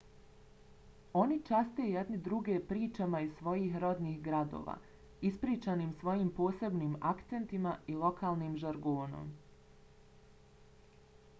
oni časte jedni druge pričama iz svojih rodnih gradova ispričanim svojim posebnim akcentima i lokalnim žargonom